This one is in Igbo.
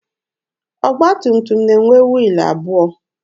Ọgba tum tum na-enwe wiilụ abụọ.